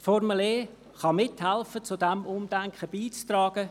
Die Formel E kann dabei mithelfen und zu diesem Umdenken beizutragen.